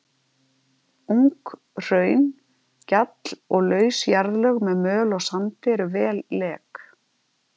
Ung hraun, gjall og laus jarðlög með möl og sandi eru vel lek.